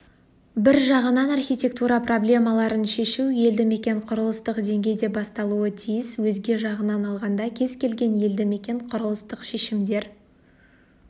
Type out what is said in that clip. бір жағынан архитектура проблемаларын шешу елді мекен құрылыстық деңгейде басталуы тиіс өзге жағынан алғанда кез келген елді мекен құрылыстық шешімдер